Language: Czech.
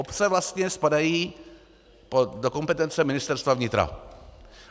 Obce vlastně spadají do kompetence Ministerstva vnitra.